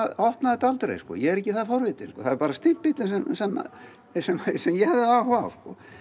opnaði þetta aldrei ég er ekki það forvitinn það er bara stimpillinn sem ég hafði áhuga á